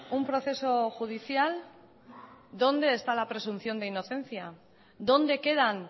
un proceso judicial dónde está la presunción de inocencia dónde quedan